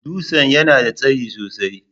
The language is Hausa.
Dutsen yana da tsayi sosai.